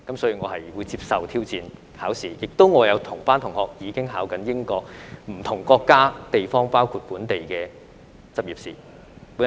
所以，我會接受考試的挑戰，我亦有同班同學正在考取英國或不同國家及地區，包括本地的執業試。